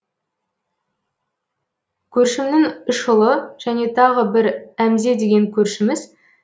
көршімнің үш ұлы және тағы бір әмзе деген көршіміз